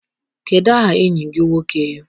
Kedụ aha enyi gị nwoke?